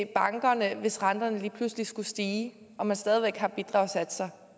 bankerne hvis renterne lige pludselig skulle stige og man stadig væk har bidragssatser